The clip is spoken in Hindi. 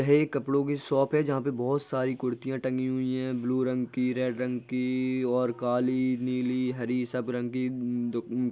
यह कपड़ों की शॉप है जहां पे बहुत सारी कुर्तियां टंगी हुई है ब्लू रंग की रेड रंग की और काली नीली हरी सब रंग की द--